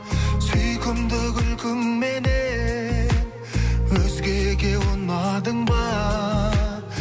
сүйкімді күлкіңменен өзгеге ұнадың ба